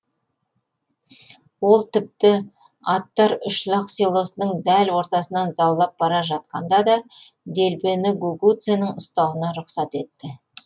ол тіпті аттар үш лақ селосының дәл ортасынан заулап бара жатқанда да делбені гугуцэнің ұстауына рұқсат етті